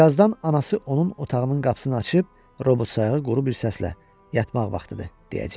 Birazdan anası onun otağının qapısını açıb, robot sayağı quru bir səslə, yatmaq vaxtıdır, deyəcəkdi.